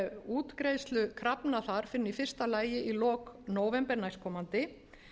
útgreiðslu krafna þar fyrr en í fyrsta lagi í lok nóvember næstkomandi